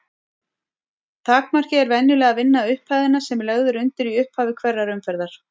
Takmarkið er venjulega að vinna upphæðina sem lögð er undir í upphafi hverrar umferðar.